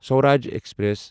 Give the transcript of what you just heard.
Swaraj express